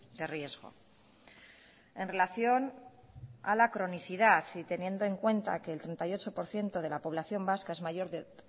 de riesgo en relación a la cronicidad y teniendo en cuenta que el treinta y ocho por ciento de la población vasca es mayor de